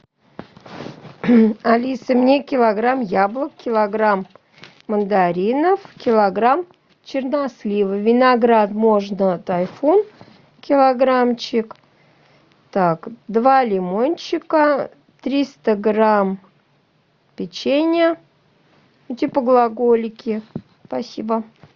алиса мне килограмм яблок килограмм мандаринов килограмм чернослива виноград можно тайфун килограммчик так два лимончика триста грамм печенья типа глаголики спасибо